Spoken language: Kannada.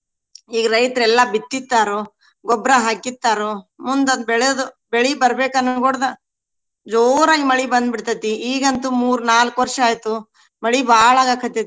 ಈಗ ರೈತ್ರೆಲ್ಲಾ ಬಿತ್ತಿರ್ತಾರು, ಗೊಬ್ರಾ ಹಾಕಿರ್ತಾರೊ ಮುಂದ ಅದ್ ಬೆಳದ್ ಬೆಳಿ ಬರ್ಬೇಕ ಅನ್ಗೊಡ್ದ ಜೋರಾಗಿ ಮಳಿ ಬಂದ್ ಬಿಡ್ತೇತಿ. ಈಗಂತೂ ಮೂರ ನಾಲ್ಕ ವರ್ಷ ಆಯ್ತು ಮಳಿ ಬಾಳ ಆಗಾಕತ್ತೆತಿ.